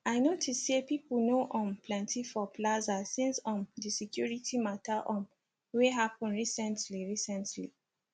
i notice say people no um plenty for plaza since um di security matter um wey happen recently recently